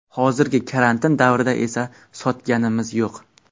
Hozirgi karantin davrida esa sotganimiz yo‘q.